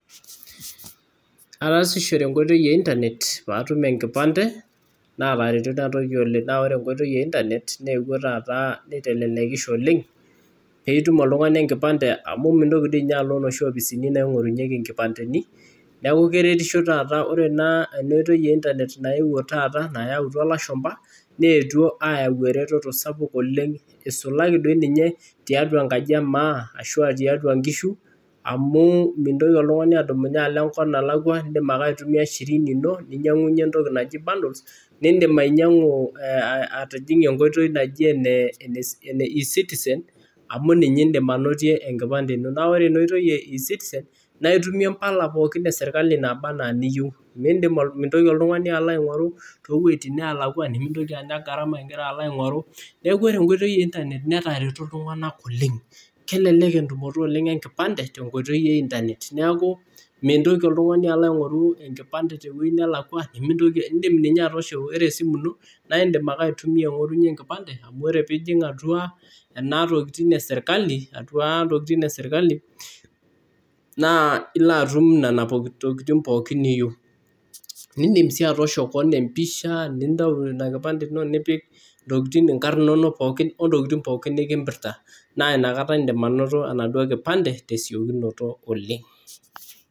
Ataasishore enkoitoi e internet paatum enkipande naatareto ina toki oleng. Naa ore enkoitoi e internet neewuo taata neitelelekisho oleng piitum oltung'ani enkipande amu mintoki ninye oltung'ani, mintoki ninye alo inoi opisini naing'orunyeki inkipandeni neeku keretisho taata. Ore ena oitoi e internet naewuo taata nayautwa ilashumpa neetwo aayau eretoto sapuk oleng isulaki doi ninye tiatwa enkaji e maa ashu tiatwa nkishu amu mintoki oltung'ani adumunye alo enkop nalakwa. Iindim ake aitumia shirini ino ninyang'unye entoki naji bundles niindim ainyang'u atijing'ie enkoitoi naji ene eCitizen amu ninye iindim anotie enkipande ino. Naa ore ina oitoi e eCitizen naitumie imbaak pookin e serikali naaba enaa niyieu. Mintoki oltung'ani alo aing'oru too wueitin neelakwa, nemintoki anya gharama igira alo aing'oru. Neeku ore enkoitoi e internet netareto iltung'anak oleng. Kelelek entumoto oleng enkipande tenkoitoi e internet. Neeku mintoki oltung'ani alo aing'oru enkipande tewuei nelakwa, nimintoki indim ninye atoosho, ore esimu ino naindim ninye aitumia aing'orunye enkipande amu ore piijing' atwa ena tokiting e serikali atwa intokiting e serikali naa ilo atum nena tokiting pookin niyieu. Niindim sii atoosho keon empisha, nintau ina kipande ino nipik intokiting inkarn inonok pookin o ntokiting pookin nekimpirta. Naa inakata iindim anoto ina kipande tesiokinoto oleng'.